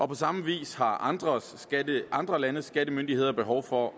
på samme vis har andre andre landes skattemyndigheder behov for